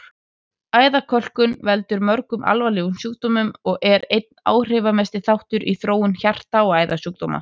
Æðakölkun veldur mörgum alvarlegum sjúkdómum og er einn áhrifamesti þáttur í þróun hjarta- og æðasjúkdóma.